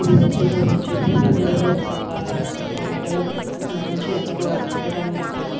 ఇది వచ్చేసి ఒక చెట్టుకి నీడలో ఒక పెట్టారు ఎండ లో మంచి ఎండ లో అన్ని టైం లో ఇక్కడ.